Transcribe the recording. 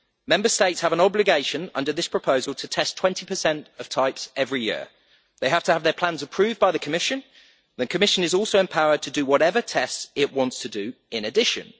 Member States have an obligation under this proposal to test 20 of types every year. They have to have their plans approved by the Commission, and the Commission is also empowered to do whatever tests it wants to do in addition.